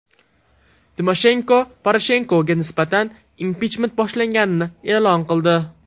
Timoshenko Poroshenkoga nisbatan impichment boshlanganini e’lon qildi.